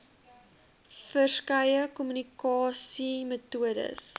ver skeie kommunikasiemetodes